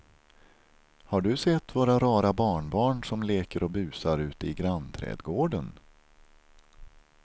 Har du sett våra rara barnbarn som leker och busar ute i grannträdgården!